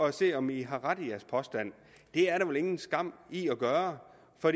at se om i har ret i jeres påstand det er der vel ingen skam i at gøre for